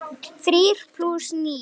Þrír plús níu.